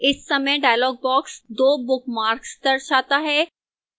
इस समय dialog box 2 bookmarks दर्शाता है